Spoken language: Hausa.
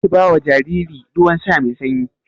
Karki bawa jariri ruwan sha mai sanyi.